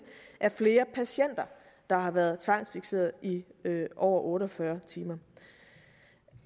er flere patienter der har været tvangsfikseret i over otte og fyrre timer